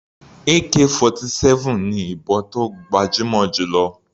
Ak-47 ni ìbọn tó gbajúmọ̀ jù lọ.